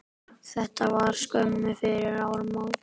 Þetta var skömmu fyrir áramót.